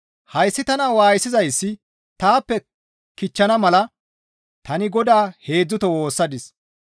Hayssi tana waayisizayssi taappe kichchana mala tani Godaa heedzdzuto woossadis.